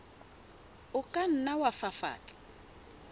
o ka nna wa fafatsa